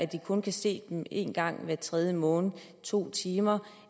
de kun kan se dem en gang hver tredje måned i to timer